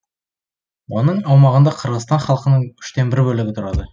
оның аумағында қырғызстан халқының үштен бір бөлігі тұрады